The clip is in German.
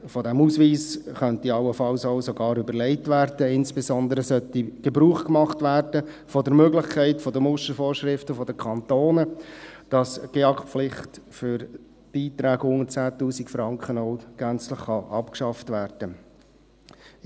Allenfalls könnte man sich sogar die Abschaffung dieses Ausweises überlegen, insbesondere sollte von der Möglichkeit der Mustervorschriften der Kantone Gebrauch gemacht werden, damit die GEAK-Pflicht für Beiträge unter 10 000 Franken auch gänzlich abgeschafft werden kann.